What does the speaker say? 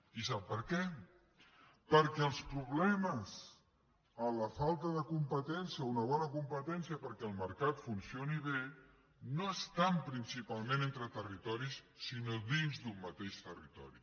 i sap per què perquè els problemes a la falta de competència a una bona competència perquè el mercat funcioni bé no estan principalment entre territoris sinó dins d’un mateix territori